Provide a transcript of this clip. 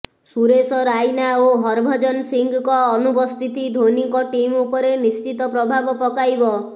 ସୁରେଶ ରାଇନା ଓ ହରଭଜନ ସିଂହଙ୍କ ଅନୁପସ୍ଥିତି ଧୋନିଙ୍କ ଟିମ୍ ଉପରେ ନିଶ୍ଚିତ ପ୍ରଭାବ ପକାଇବ